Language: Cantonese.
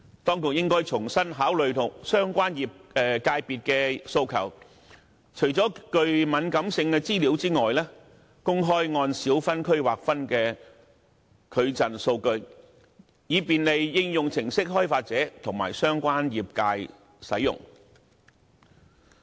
當局應該重新考慮相關界別的訴求，除了敏感資料外，公開按小分區劃分的矩陣數據，以便利應用程式開發者和相關業界使用。